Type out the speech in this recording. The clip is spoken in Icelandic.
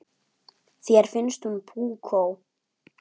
Þér finnst hún púkó.